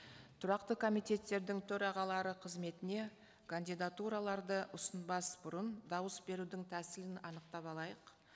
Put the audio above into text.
тұрақты комитеттердің төрағалары қызметіне кандидатураларды ұсынбас бұрын дауыс берудің тәсілін анықтап алайық